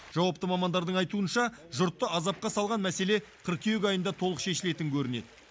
жауапты мамандардың айтуынша жұртты азапқа салған мәселе қыркүйек айында толық шешілетін көрінеді